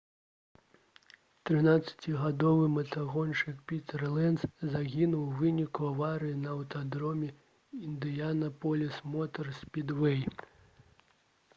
13-гадовы матагоншчык пітэр ленц загінуў у выніку аварыі на аўтадроме «індыянапаліс мотар спідвэй»